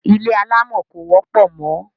Ilé alámọ̀ kò wọ́pọ̀ mọ́.